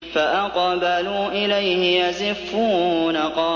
فَأَقْبَلُوا إِلَيْهِ يَزِفُّونَ